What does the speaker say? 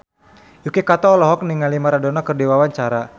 Yuki Kato olohok ningali Maradona keur diwawancara